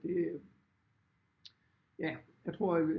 Det ja jeg tror